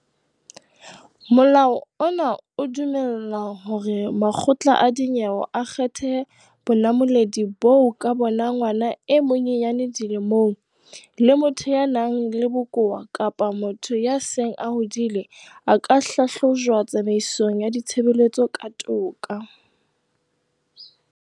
Molao ona o dumella hore makgotla a dinyewe a kgethe bonamoledi boo ka bona ngwana e monyenyane dilemong, le motho ya nang le bokowa kapa motho ya seng a hodile a ka hlahlojwa tsamaisong ya ditshebeletso tsa toka.